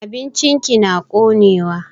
Abincin ki na konewa.